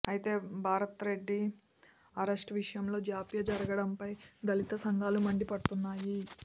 ఐతే భరత్రెడ్డి అరెస్ట్ విషయంలో జాప్య జరగడంపై దళిత సంఘాలు మండిపడుతున్నాయి